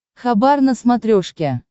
хабар на смотрешке